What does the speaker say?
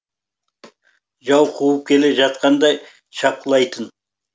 жау қуып келе жатқандай шапқылайтын